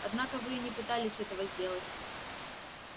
однако вы и не пытались этого сделать